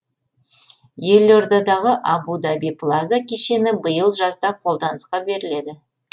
елордадағы абу даби плаза кешені биыл жазда қолданысқа беріледі